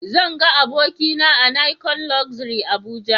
Zan ga abokina a nicon luxury Abuja